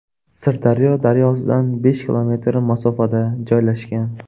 Sirdaryo daryosidan besh kilometr masofada joylashgan.